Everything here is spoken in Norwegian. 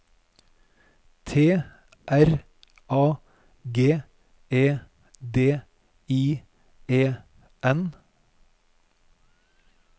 T R A G E D I E N